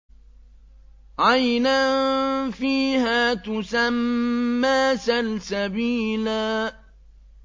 عَيْنًا فِيهَا تُسَمَّىٰ سَلْسَبِيلًا